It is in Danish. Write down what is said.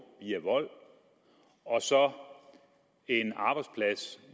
via vold og så en arbejdsplads